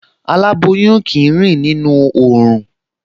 Aláboyún kì í rìn nínú oòrùn